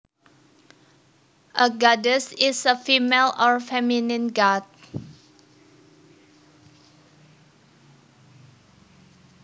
A goddess is a female or feminine god